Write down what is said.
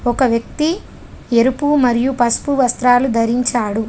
ఒక వ్యక్తి ఎరుపు మరియు పసుపు వస్త్రాలు ధరించాడు.